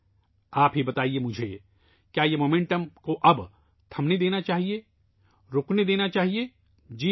آپ مجھے بتائیں ، کیا اس رفتار کو اب رکنے دینا چاہیے ، کیا اسے رکنے دیا جائے؟ جی نہیں